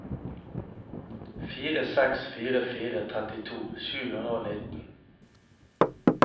fire seks fire fire trettito sju hundre og nitten